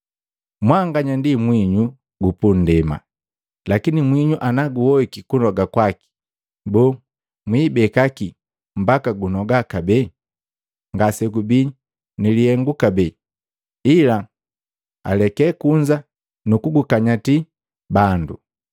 “Mwanganya ndi mwinyu gu pundema. Lakini mwinyu naguhoiki kunoga kwaki, boo, mwiibeka kii mbaka jinoga kabee? Ngasejibii ni lihengu kabee, ila aleke kunza nukukanyatwa na bandu.